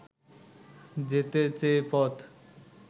যেতে চেয়ে পথ